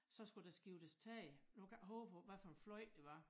Så skulle der skiftes tag nu kan jeg ik hove hvad for en fløj det var